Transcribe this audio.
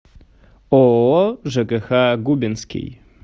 ооо жкх губинский